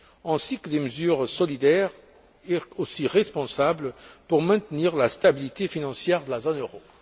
ainsi que des mesures solidaires et responsables pour maintenir la stabilité financière de la zone euro.